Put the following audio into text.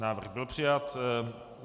Návrh byl přijat.